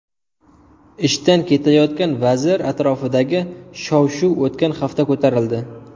Ishdan ketayotgan vazir atrofidagi shov-shuv o‘tgan hafta ko‘tarildi.